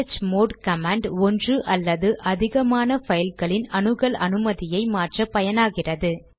chmod command ஒன்று அல்லது அதிகமான பைல்களின் அணுகல் அனுமதியை மாற்ற பயனாகிறது